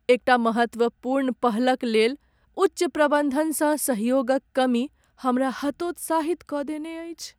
एकटा महत्वपूर्ण पहलक लेल उच्च प्रबन्धनसँ सहयोगक कमी हमरा हतोत्साहित कऽ देने अछि।